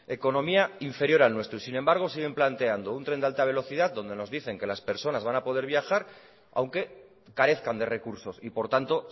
economía inferior al nuestro y sin embargo siguen planteando un tren de alta velocidad donde nos dicen que las personas van a poder viajar aunque carezcan de recursos y por tanto